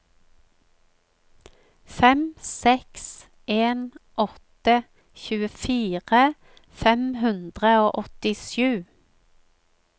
fem seks en åtte tjuefire fem hundre og åttisju